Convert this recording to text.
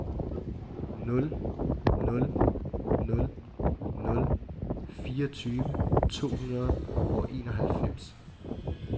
nul nul nul nul fireogtyve to hundrede og enoghalvfems